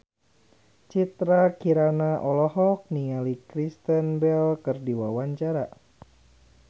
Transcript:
Citra Kirana olohok ningali Kristen Bell keur diwawancara